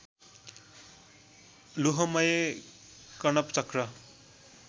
लोहमय कणप चक्र